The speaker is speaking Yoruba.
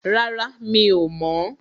Rárá, Mi ò mọ̀.